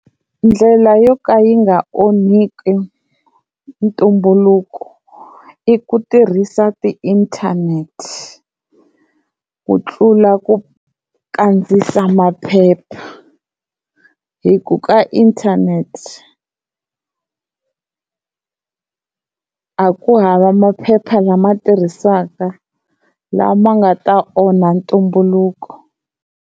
Ndlela yo ka yi nga onhiki ntumbuluko i ku tirhisa ti-internet ku tlula ku kandziyisa maphepha hi ku ka internet a ku hava maphepha lama tirhisaka lama nga ta onha ntumbuluko.